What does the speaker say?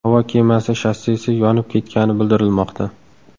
Havo kemasi shassisi yonib ketgani bildirilmoqda.